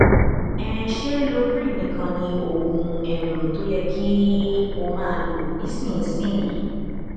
um ṣé loprin nìkan ni oògùn um tó yẹ kí o máa lò nísinsìnyí